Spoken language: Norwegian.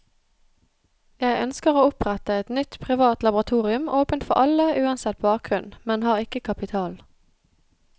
Jeg ønsker å opprette et nytt privat laboratorium åpent for alle uansett bakgrunn, men har ikke kapital.